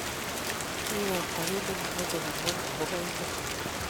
kiwekta kiit nekimochei komwa akobo inen